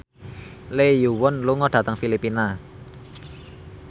Lee Yo Won lunga dhateng Filipina